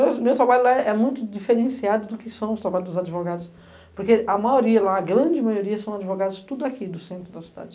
meus, o meu trabalho lá é muito diferenciado do que são os trabalhos dos advogados, porque a maioria lá, a grande maioria, são advogados tudo aqui, do centro da cidade.